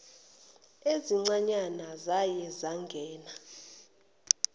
ezisencane zaye zangena